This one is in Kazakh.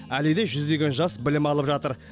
әлі де жүздеген жас білім алып жатыр